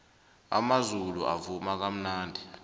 amazulu avuma kamnandi